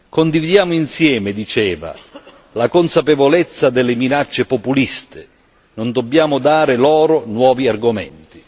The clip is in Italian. Condividiamo insieme diceva la consapevolezza delle minacce populiste, non dobbiamo dare loro nuovi argomenti.